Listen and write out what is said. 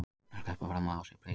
Að sleppa fram af sér beislinu